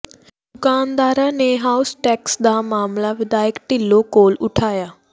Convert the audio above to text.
ਦੁਕਾਨਦਾਰਾਂ ਨੇ house tax ਦਾ ਮਾਮਲਾ ਵਿਧਾਇਕ ਢਿੱਲੋਂ ਕੋਲ ਉਠਾਇਆ